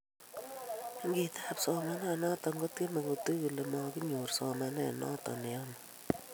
ngitaap somananatok kotyeme kotuuch kole maginyoor somanet noto neyame